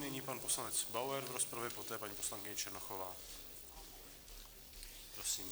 Nyní pan poslanec Bauer, v rozpravě poté paní poslankyně Černochová.